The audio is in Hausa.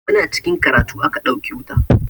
Muna cikin karatu aka ɗauke wuta.